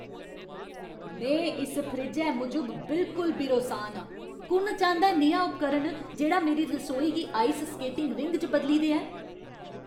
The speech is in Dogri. में इस फ्रिज्जै मूजब बिलकुल बिरोसान आं। कु'न चांह्दा ऐ नेहा उपकरण जेह्ड़ा मेरी रसोई गी आइस स्केटिंग रिंग च बदली देऐ?